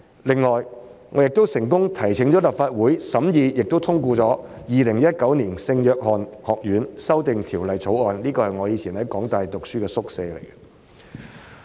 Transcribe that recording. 另外，我也成功提請立法會審議並通過了《2019年聖約翰學院條例草案》，涉及的是我過去在香港大學就讀時居住的宿舍。